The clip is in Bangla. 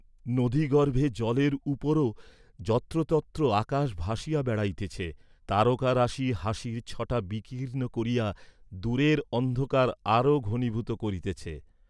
নদীগর্ভে জলের উপরও যত্রতত্র আকাশ ভাসিয়া বেড়াইতেছে, তারকারাশি হাসির ছটা বিকীর্ণ করিয়া দূরের অন্ধকার আরো ঘনীভুত করিতেছে।